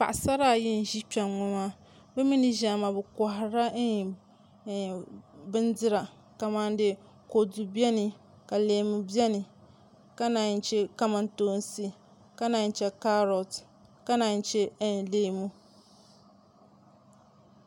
Paɣasara ayi n ʒi kpɛŋŋo maa bi mii ni ʒiya maa bi koharila bindira kamani kodu biɛni ka leemu biɛni ka naan chɛ kamantoosi ka naan chɛ kaarot ka naan chɛ leemu